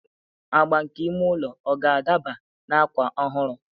Agba nke ime ụlọ ọ ga-adaba na akwa ọhụrụ?